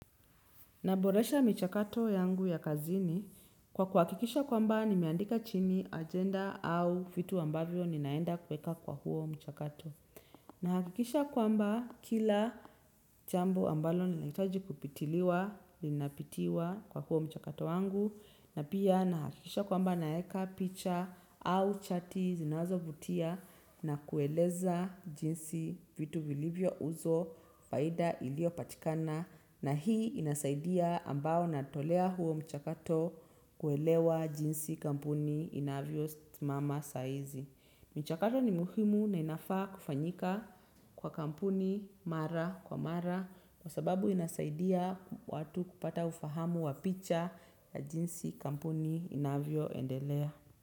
Naboresha michakato yangu ya kazini kwa kuhakikisha kwamba nimeandika chini agenda au vitu ambavyo ninaenda kuweka kwa huo mchakato. Na hakikisha kwamba kila jambo ambalo linahitaji kupitiliwa linapitiwa kwa huo mchakato wangu na pia nahakikisha kwamba naeka picha au chati zinazovutia na kueleza jinsi vitu vilivyo uzo faida iliyopatikana na hii inasaidia ambao natolea huo mchakato kuelewa jinsi kampuni inavyo simama saizi. Michakato ni muhimu na inafaa kufanyika kwa kampuni mara kwa mara kwa sababu inasaidia watu kupata ufahamu wa picha ya jinsi kampuni inavyoendelea.